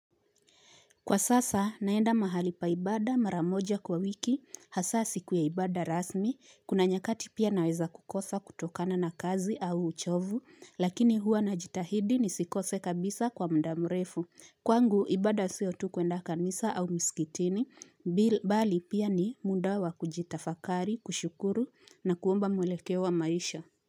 Kwa sasa, naenda mahali pa ibada mara moja kwa wiki, hasaa siku ya ibada rasmi, kuna nyakati pia naweza kukosa kutokana na kazi au uchovu, lakini hua najitahidi nisikose kabisa kwa muda mrefu. Kwangu, ibada sio tu kuenda kanisa au misikitini, bi mbali pia ni muda wakujitafakari, kushukuru na kuomba mwelekeo wa maisha.